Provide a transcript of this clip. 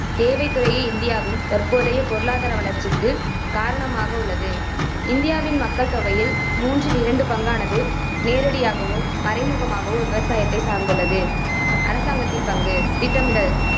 சேவைத் துறையே இந்தியாவின் தற்போதைய பொருளாதார வளர்ச்சிக்குக் காரணமாக உள்ளது. இந்தியாவின் மக்கள் தொகையில் மூன்றில் இரண்டு பங்கானது நேரடியாகவோ மறைமுகமாகவோ விவசாயத்தை சார்ந்துள்ளது. அரசாங்கத்தின் பங்கு திட்டமிடல்